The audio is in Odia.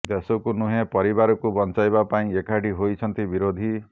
ଦେଶକୁ ନୁହେଁ ପରିବାରକୁ ବଞ୍ଚାଇବା ପାଇଁ ଏକାଠି ହୋଇଛନ୍ତି ବିରୋଧୀ